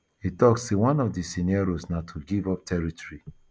e tok say one of di scenarios na to give up territory